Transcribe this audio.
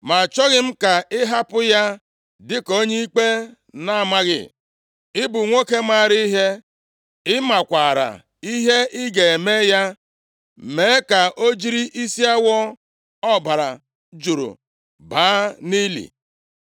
Ma achọghị m ka ị hapụ ya dịka onye ikpe na-amaghị. Ị bụ nwoke maara ihe. Ị makwaara ihe ị ga-eme ya. Mee ka o jiri isi awọ ọbara juru baa nʼili.”